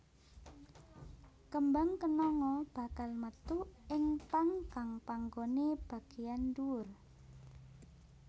Kembang kenanga bakal metu ing pang kang panggoné bagéyan dhuwur